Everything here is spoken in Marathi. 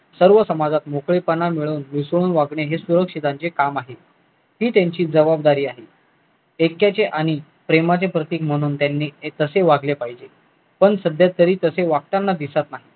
सर्व समाजात मोकळेपणा मिळून मिसळून वागणे काम आहे ही त्यांची जबाबदारी आणि प्रेमाचे प्रतीक म्हणून त्यांनी तशे वागले पाहिजे पण सध्या त्यांनी तसे वागताना दिसत